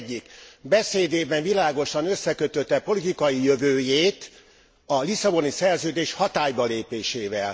Az egyik beszédében világosan összekötötte politikai jövőjét a Lisszaboni Szerződés hatálybalépésével.